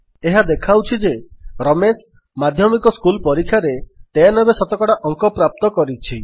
ଏହା ଦେଖାଉଛି ଯେ ରମେଶ ମାଧ୍ୟମିକ ସ୍କୁଲ୍ ପରୀକ୍ଷାରେ 93 ଶତକଡ଼ା ଅଙ୍କ ପ୍ରାପ୍ତ କରିଛି